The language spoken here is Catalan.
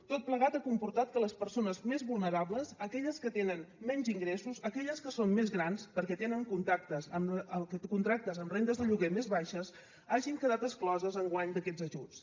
tot plegat ha comportat que les persones més vulnerables aquelles que tenen menys ingressos aquelles que són més grans perquè tenen contractes amb rendes de lloguer més baixes hagin quedat excloses enguany d’aquests ajuts